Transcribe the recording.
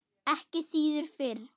Ekki síður fyrir